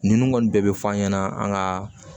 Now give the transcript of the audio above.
Nin kɔni bɛɛ bɛ fɔ an ɲɛna an ka